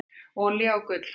Olía og gull hækka